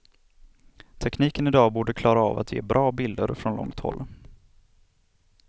Tekniken idag borde klara av att ge bra bilder från långt håll.